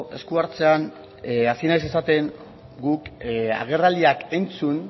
esku hartzean hasi naiz esaten guk agerraldiak entzun